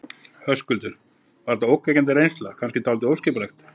Höskuldur: Var þetta ógnvekjandi reynsla, kannski dálítið óskipulegt?